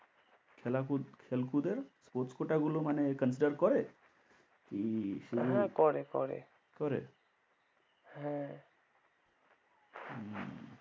খেলাকুদ খেলকুদের sports quota গুলো মানে consider করে? কি শুধু হ্যাঁ করে করে। করে? হ্যাঁ হম